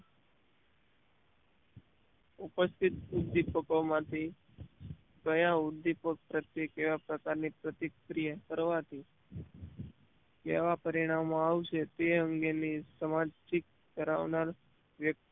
ઉપસ્થિત ઉદ્દીપકો માંથી કયા ઉદ્દીપક પ્રત્યે કેવા પ્રકારની પ્રતિક્રિયા કરવાથી કેવા પરિણામો આવશે તે અંગેની સમાજીક કરાવનાર